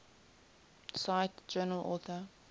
cite journal author